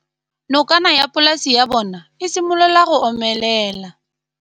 Nokana ya polase ya bona, e simolola go omelela.